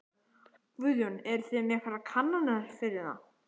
Guðjón: Eruð þið með einhverjar kannanir fyrir það?